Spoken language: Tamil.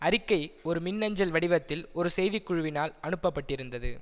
அறிக்கை ஒரு மின்னஞ்சல் வடிவத்தில் ஒரு செய்தி குழுவினால் அனுப்ப பட்டிருந்தது